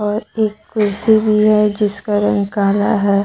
और एक कुर्सी भी है जिसका रंग काला है।